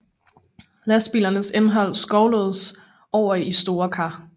Lastbilernes indhold skovles over i store kar